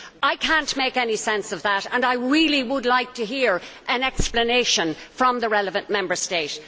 I cannot make any sense of that and I really would like to hear an explanation from the relevant Member State.